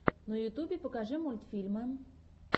в ютюбе покажи мультфильмы